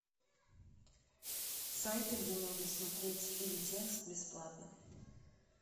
сайты где можно смотреть фильм текст бесплатно